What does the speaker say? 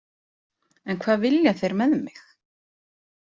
En hvað vilja þeir með mig?